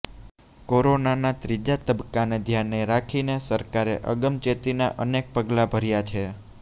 કોરોનાના ત્રીજા તબક્કાને ધ્યાને રાખીને સરકારે અગમચેતીના અનેક પગલાં ભર્યા છે